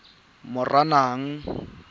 moranang